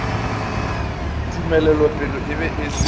tumelelopele e be e se